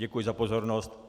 Děkuji za pozornost.